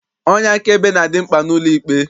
Onye akaebe na-adị mkpa n'ụlọikpe.